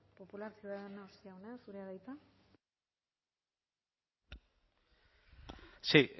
popular ciudadanos jauna zurea da hitza sí